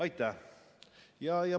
Aitäh!